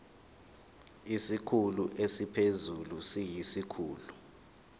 isikhulu esiphezulu siyisikhulu